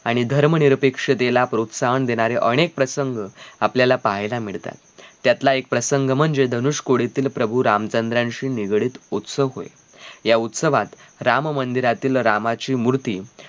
आणि धर्म निरपेक्षतेला प्रोत्साहन देणारे अनेक प्रसंग आपल्याला पाहायला मिळतात. त्यातला एक प्रसंग म्हणजे धनुष्य कोडेतील प्रभू रामचंद्र यांशी निघडीत उत्सव होय या उत्सवात राम मंदिरातील रामाची मूर्ती